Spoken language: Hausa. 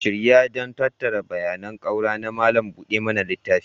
Shirya don tattara bayanan ƙaura na malam buɗe mana littafi